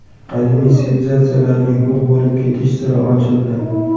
Qadimiy sivilizatsiyalarning yo‘q bo‘lib ketish siri ochildi.